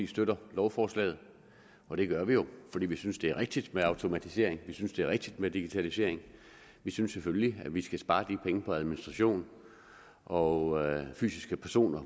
støtter lovforslaget og det gør vi jo fordi vi synes det er rigtigt med automatisering vi synes det er rigtigt med digitalisering vi synes selvfølgelig at vi skal spare de penge på administration og fysiske personer